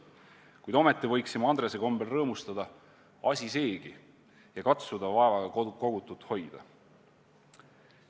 Kuid ometi võiksime Andrese kombel rõõmustada – asi seegi – ja katsuda vaevaga kogutut hoida.